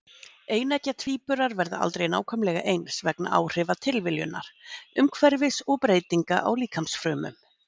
Eineggja tvíburar verða aldrei nákvæmlega eins vegna áhrifa tilviljunar, umhverfis og breytinga á líkamsfrumum.